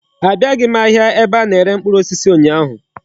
Abiaghi m ahịa ebe a na-ere mkpụrụ osisi ụnyaahụ.